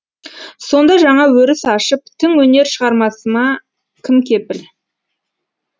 сонда жаңа өріс ашып тың өнер шығармасыма кім кепіл